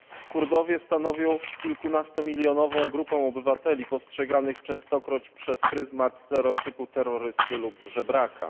Kurdowie stanowią kilkunastomilionową grupę obywateli postrzeganych częstokroć przez pryzmat stereotypu terrorysty lub żebraka.